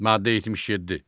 Maddə 77.